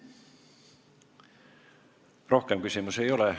Rohkem küsimusi ei ole.